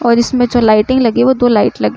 और इसमें जो लाइटिंग लगी है। वो दो लाइट लगी --